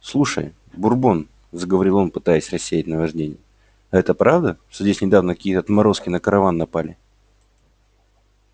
слушай бурбон заговорил он пытаясь рассеять наваждение а это правда что здесь недавно какие-то отморозки на караван напали